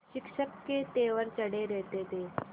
शिक्षक के तेवर चढ़े रहते थे